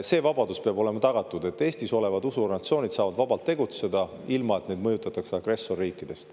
See peab olema tagatud, et Eestis olevad usuorganisatsioonid saavad vabalt tegutseda, ilma et neid mõjutataks agressorriikidest.